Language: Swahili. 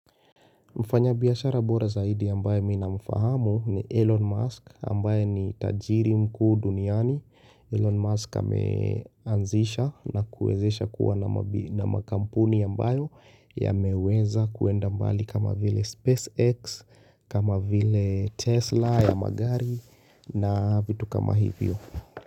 Mfanya biashara bora zaidi ambaye mimi namfahamu ni Elon Musk ambaye ni tajiri mkuu duniani. Elon Musk ameanzisha na kuwezesha kuwa na makampuni ambayo yameweza kuenda mbali kama vile SpaceX, kama vile Tesla ya magari na vitu kama hivyo.